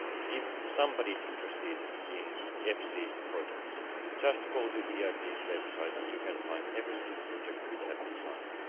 If somebody is interested in EFSI projects just go to the EIB's website and you can find every single project that has been signed.